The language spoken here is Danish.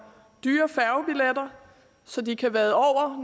dyre færgebilletter så de kan vade over